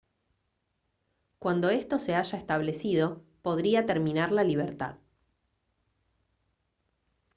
cuando esto se haya establecido podría terminar la libertad